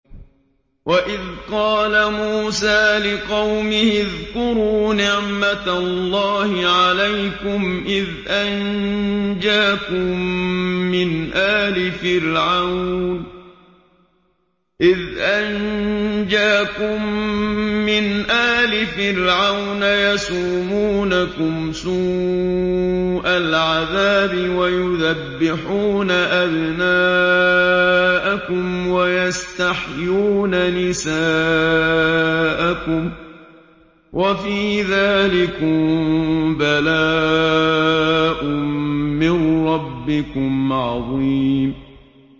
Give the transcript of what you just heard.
وَإِذْ قَالَ مُوسَىٰ لِقَوْمِهِ اذْكُرُوا نِعْمَةَ اللَّهِ عَلَيْكُمْ إِذْ أَنجَاكُم مِّنْ آلِ فِرْعَوْنَ يَسُومُونَكُمْ سُوءَ الْعَذَابِ وَيُذَبِّحُونَ أَبْنَاءَكُمْ وَيَسْتَحْيُونَ نِسَاءَكُمْ ۚ وَفِي ذَٰلِكُم بَلَاءٌ مِّن رَّبِّكُمْ عَظِيمٌ